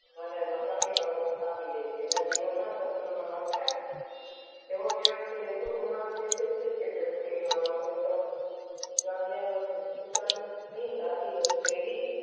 અને નકામી બાબત આપી દે છે એના જીવન માં સ્વપ્નો નો અર્થ તેઑ જીવન થી એટલું ગુમાવી દે છે કે